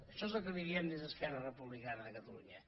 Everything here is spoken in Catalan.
això és el que li diem des d’esquerra republicana de catalunya